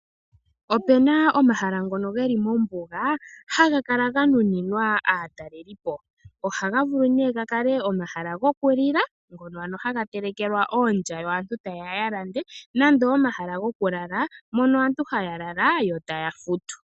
Opuna omahala ngono geli mombuga haga kala ga nuninwa aatalelipo. Oha ga vulu nee ga kale omahala gokulila ngono ano haga telekelwa oolya yo aantu tayeya yalande nande omahala gokulala, mono aantu haya lala yo taya futu.